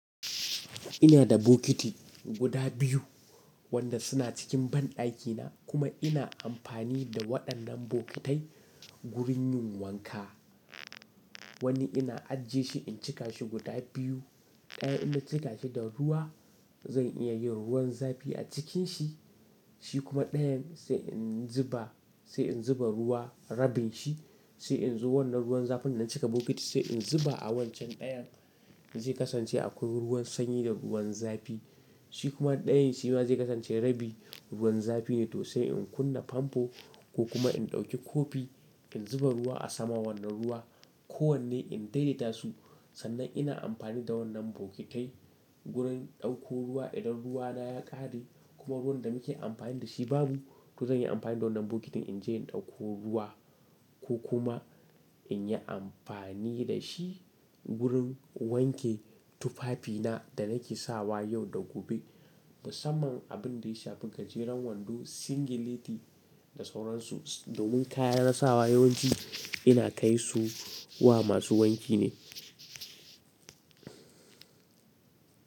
Ina da bokiti guda biyu wanda suna cikin banɗaki na kuma ina amfani da waɗannan bokitai gurin yin wanka. Wani ina ajiye shi in cika shi guda biyu. Ɗayan in na cika shi da ruwa zan iya yin ruwan zafi a cikin shi, shi kuma ɗayan sai in zuba, sai in zuba ruwa rabin shi, sai in zuba wannan ruwan zafin da na cika bokiti sai in zuba a wancan ɗayan zai kasance akwai ruwan sanyi da ruwan zafi. Shi kuma ɗayan shi ma zai kasance rabi ruwan zafi ne to sai in kunna famfo ko kuma in ɗauki kofi in zuba ruwa a sama wannan ruwa ko wanne in daidaita su. Sannan ina amfani da wannan bokitai gurin ɗauko ruwa idan ruwa na ya ƙare kuma ruwan da muke amfani da shi babu to zan yi amfani da wannan bokitin in je in ɗauko ruwa ko kuma in yi amfani da shi gurin wanke tufafi na da nake sawa yau da gobe. Musamman abin da ya shafi gajeren wando singileti da sauransu domin kayan sawa yawanci ina kai su wa masu wanki ne.